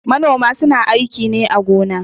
Manoma su na aiki ne a gona